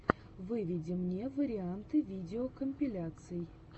выведи мне варианты видеокомпиляций